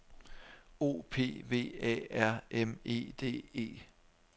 O P V A R M E D E